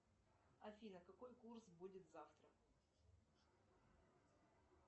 афина какой курс будет завтра